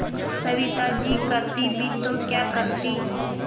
सविता जी करती भी तो क्या करती